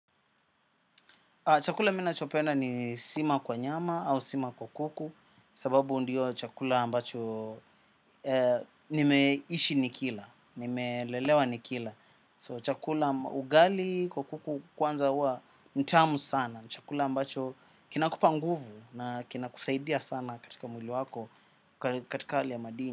Chakula mi nachopenda ni sima kwa nyama au sima kwa kuku sababu ndiyo chakula ambacho nimeishi nikila, nimelelewa nikila. So chakula ugali kwa kuku kwanza hua mtamu sana. Chakula ambacho kinakupa nguvu na kinakusaidia sana katika mwili wako katika hali ya madini.